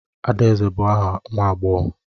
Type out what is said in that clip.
Adaeze bụ aha nwa agbọghọ.